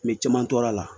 Mɛ caman tora a la